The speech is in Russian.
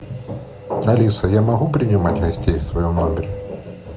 алиса я могу принимать гостей в своем номере